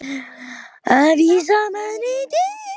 Að vísa manni á dyr í þessu voðalega veðri.